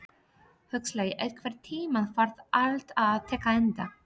Huxley, einhvern tímann þarf allt að taka enda.